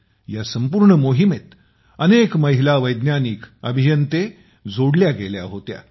या संपूर्ण मोहिमेत अनेक महिला वैज्ञानिक आणि अभियंत्या जोडल्या गेल्या होत्या